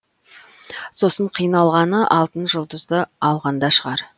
сосын қиналғаны алтын жұлдызды алғанда шығар